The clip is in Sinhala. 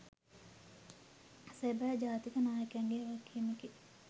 සබැ ජාතික නායකයන්ගේ වගකීමකි